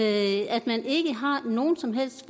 at man ikke har nogen som helst